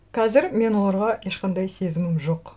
қазір мен оларға ешқандай сезімім жоқ